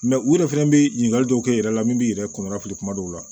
u yɛrɛ fɛnɛ bɛ ɲininkali dɔw kɛ e yɛrɛ la min b'i yɛrɛ kɔnɔ fili kuma dɔw la